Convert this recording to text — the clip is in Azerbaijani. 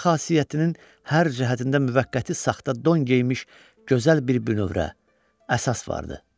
Onun xasiyyətinin hər cəhətində müvəqqəti saxta don geyinmiş gözəl bir bünövrə, əsas vardı.